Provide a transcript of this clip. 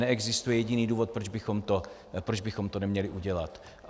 Neexistuje jediný důvod, proč bychom to neměli udělat.